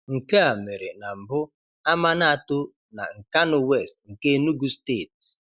Nke a mere na mbụ Amanato na Nkanu West nke Enugu steeti